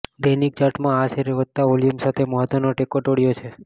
દૈનિક ચાર્ટમાં આ શેરે વધતા વોલ્યુમ સાથે મહત્ત્વનો ટેકો તોડ્યો છે